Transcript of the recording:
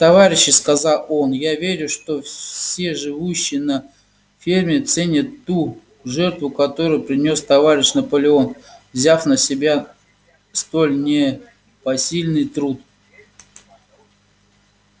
товарищи сказал он я верю что все живущие на ферме ценят ту жертву которую принёс товарищ наполеон взяв на себя столь непосильный труд